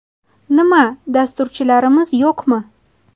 Nima, dasturchilarimiz yo‘qmi?